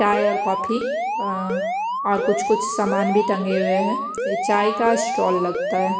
चाय और कॉफ़ी अं और कुछ कुछ सामान भी टंगे हुए हैं चाय का स्टॉल लगता है।